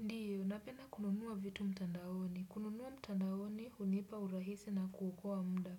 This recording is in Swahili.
Ndiyo, napena kununua vitu mtandaoni. Kununua mtandaoni, hunipa urahisi na kuokoa muda.